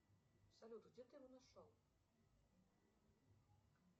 салют где ты его нашел